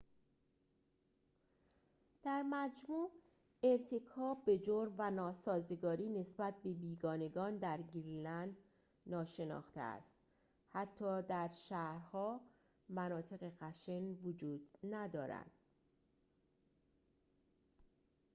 در مجموع ارتکاب به جرم و ناسازگاری نسبت به بیگانگان در گرینلند ناشناخته است حتی در شهرها مناطق خشن وجود ندارد